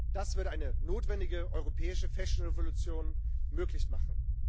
Das würde eine notwendige europäische Fashion Revolution möglich machen.